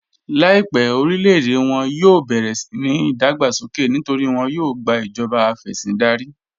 Láìpẹ̀ orílẹ̀-èdè wọn yóò bẹ̀rẹ̀ síni ìdágbàsókè nítorí wọn yóò gbà ìjọba afẹ̀sìndárí.